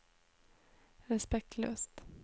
respektløst